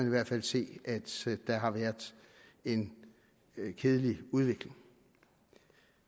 i hvert fald se at der har været en kedelig udvikling